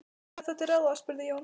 Hvað er þá til ráða? spurði Jón.